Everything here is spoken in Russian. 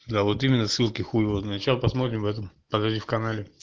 да вот именно ссылки хуева сначала посмотрим в этом подожди в канале